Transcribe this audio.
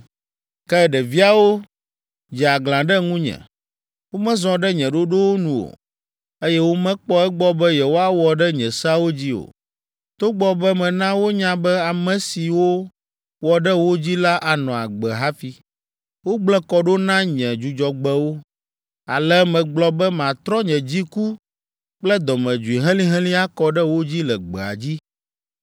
“ ‘Ke ɖeviawo dze aglã ɖe ŋunye. Womezɔ ɖe nye ɖoɖowo nu o, eye womekpɔ egbɔ be yewoawɔ ɖe nye seawo dzi o, togbɔ be mena wonya be, ame siwo wɔ ɖe wo dzi la anɔ agbe hafi. Wogblẽ kɔ ɖo na nye Dzudzɔgbewo. Ale megblɔ be matrɔ nye dziku kple dɔmedzoe helĩhelĩ akɔ ɖe wo dzi le gbea dzi.